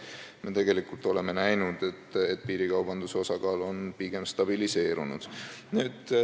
Me tegelikult oleme näinud, et piirikaubanduse osakaal on pigem stabiliseerunud.